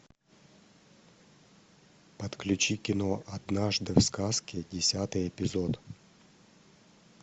подключи кино однажды в сказке десятый эпизод